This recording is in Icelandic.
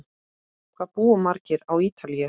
Hvað búa margir á Ítalíu?